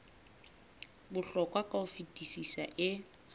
bohlokwa ka ho fetisisa e